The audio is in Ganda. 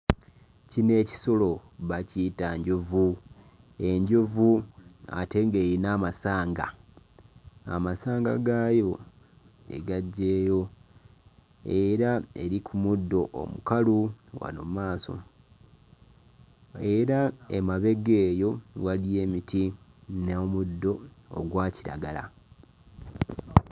Kino ekisolo bakiyita njovu enjovu ate ng'eyina amasanga amasanga gaayo egaggyeyo era eri ku muddo omukalu wano mmaaso era emabega eyo waliyo emiti n'omuddo ogwa kiragala.